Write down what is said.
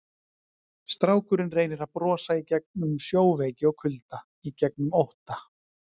Strákurinn reynir að brosa í gegnum sjóveiki og kulda, í gegnum ótta.